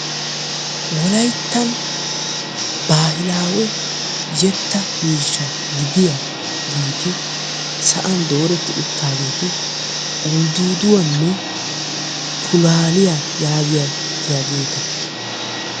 Wolayttan baahilawe yetta miishsha gidiyagatinsa'an laaleti uttageeti uldduwanne pulalliya yaagetiyageta